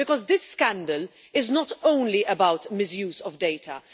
This scandal is not only about misuse of data.